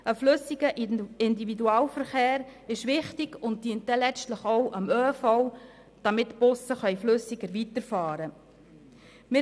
Ein flüssiger Individualverkehr ist wichtig und dient letztlich auch dem ÖV, damit die Busse flüssiger fahren können.